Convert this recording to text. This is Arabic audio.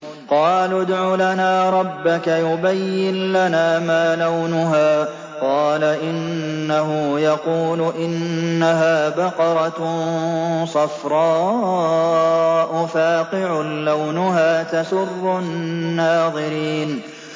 قَالُوا ادْعُ لَنَا رَبَّكَ يُبَيِّن لَّنَا مَا لَوْنُهَا ۚ قَالَ إِنَّهُ يَقُولُ إِنَّهَا بَقَرَةٌ صَفْرَاءُ فَاقِعٌ لَّوْنُهَا تَسُرُّ النَّاظِرِينَ